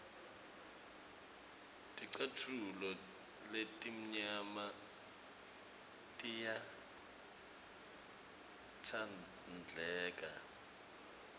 ticatfulo letimnyama tiyatsandleka